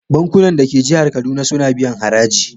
Bankunan da ke jihar Kaduna suna biyan haraji.